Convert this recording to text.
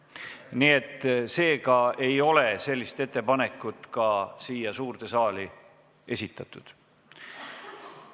Nii et seega ei ole sellist ettepanekut ka siia suurde saali esitatud.